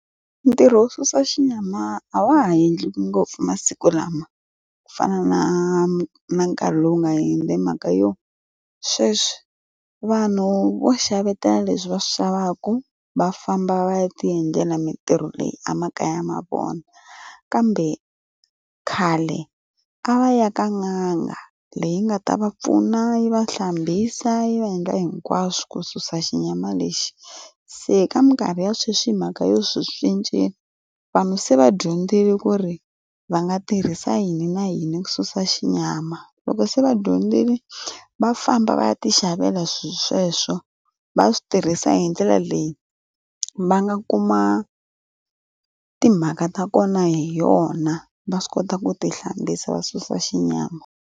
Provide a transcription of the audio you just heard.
Ntirho wo susa xinyama a wa ha endliwa ngopfu masiku lama ku fana na na nkarhi lowu nga yendli hi mhaka yo sweswi vanhu vo xavetela leswi va swi xavaka va famba va ya ta ndlela mintirho leyi emakaya ma vona kambe khale a va ka n'anga leyi nga ta va pfuna yi va hlambisa yi va endla hinkwaswo ku susa xinyama lexi se ka minkarhi ya sweswi hi mhaka yo swi cincile vanhu se va dyondzile ku ri va nga tirhisa yini na yini ku susa xinyama loko se va dyondzile va famba va ya ti xavela swilo sweswo va swi tirhisa hi ndlela leyi va nga kuma timhaka ta kona hi yona va swi kota ku ti hlambisa va susa xinyama.